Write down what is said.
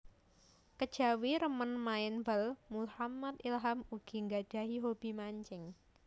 Kejawi remen main bal Muhammad Ilham ugi nggadhahi hobi mancing